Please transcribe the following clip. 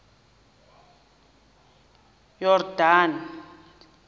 yordane